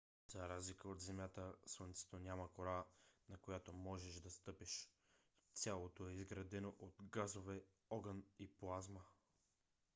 за разлика от земята слънцето няма кора на която можеш да стъпиш. цялото е изградено от газове огън и плазма